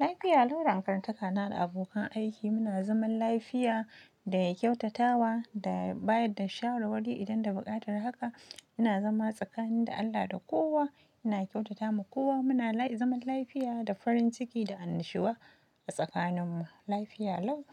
Lafiya lau dakatantaka na da abokan aiki muna zaman lafiya da kyautatawa da bayar da shawarwari idan da buƙatar haka. Ina zama tsakanin da Allah da kowa, ina kyautata ma kowa. Muna zaman lafiya da farin ciki da annashuwa a tsakaninmu lafiya lau.